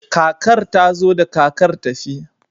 kakar ta zo da kakar tafi